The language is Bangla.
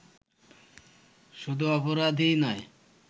শুধু অপরাধই নয়